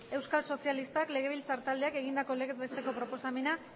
euskal sozialistak legebiltzar taldeak egindako legez beteko proposamena